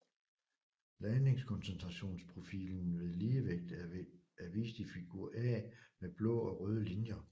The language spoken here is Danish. Ladningskoncentrationsprofilen ved ligevægt er vist i figur A med blå og røde linjer